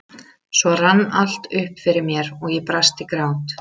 Svo rann allt upp fyrir mér og ég brast í grát.